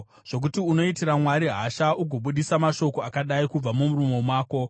zvokuti unoitira Mwari hasha ugobudisa mashoko akadai kubva mumuromo mako?